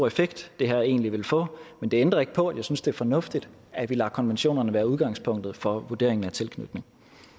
effekt det her egentlig vil få men det ændrer ikke på at jeg synes det er fornuftigt at vi lader konventionerne være udgangspunktet for vurderingen af tilknytning